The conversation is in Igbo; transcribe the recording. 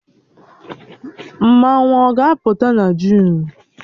Mmanwụ ọ ga-apụta na Jụn?